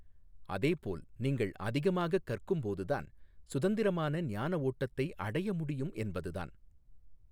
அதேபோல் நீங்கள் அதிகமாகக் கற்கும்போதுதான் சுதந்திரமான ஞானஓட்டத்தை அடைய முடியும் என்பதுதான்.